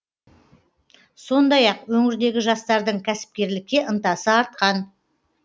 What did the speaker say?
сондай ақ өңірдегі жастардың кәсіпкерлікке ынтасы артқан